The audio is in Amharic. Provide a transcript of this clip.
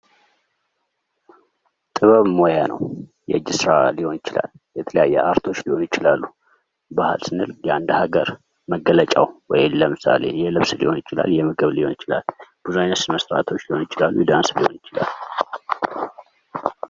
ጥበብ ሞያ ነው የእጅ ስራ ሊሆን ይችላል የተለያዩ ሊሆኑ ይችላሉ:: ባህል ስንል የአንድ ሀገር መገለጫው ወይም ለምሳሌ የልብስ ሊሆን ይችላል የምግብ ሊሆን ይችላል ብዙ ዓይነት መስታወሻዎች ሊሆኑ ይችላሉ ዳንስ ሊሆን ይችላል::